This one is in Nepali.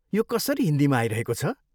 यो कसरी हिन्दीमा आइरहेको छ?